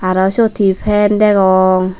arow siyot hi fan degong.